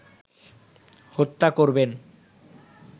হত্যা করবেন